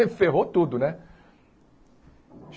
E ferrou tudo, né?